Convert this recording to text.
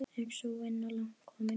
Er sú vinna langt komin.